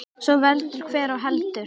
Svo veldur hver á heldur.